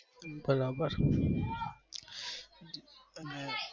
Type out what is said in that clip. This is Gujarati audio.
બરાબર હમ